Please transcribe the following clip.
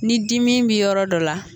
Ni dimin bi yɔrɔ dɔ la